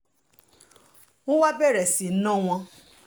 wọ́n wàá bẹ̀rẹ̀ sí í ná wọn